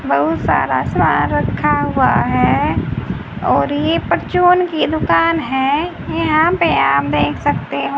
बहुत सारा सामान रखा हुआ है और ये परचून की दुकान है यहां पे आप देख सकते हो।